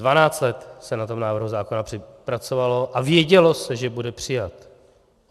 Dvanáct let se na tom návrhu zákona pracovalo a vědělo se, že bude přijat.